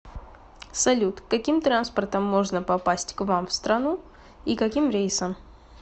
салют каким транспортом можно попасть к вам в страну и каким рейсом